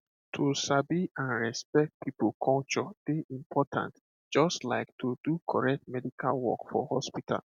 to sabi and respect people culture dey important just like to do correct medical work for hospital